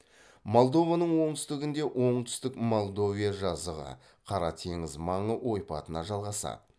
молдованың оңтүстігіндегі оңтүстік молдовия жазығы қара теңіз маңы ойпатына жалғасады